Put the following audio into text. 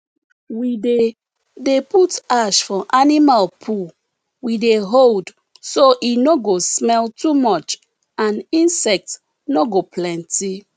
we dey dey put ash for animal poo we dey hold so e no go smell too much and insects no go plenty